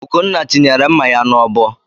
Ugonna tinyere mma ya n'ọbọ